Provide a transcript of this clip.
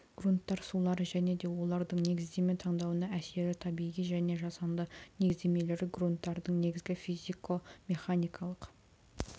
грунттар сулары және де олардың негіздеме таңдауына әсері табиғи және жасанды негіздемелері грунттардың негізгі физико механикалық